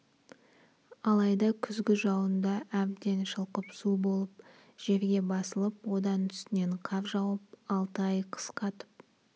алайда күзгі жауында әбден шылқып су болып жерге басылып одан үстінен қар жауып алты ай қыс қатып